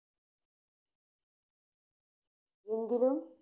എങ്കിലും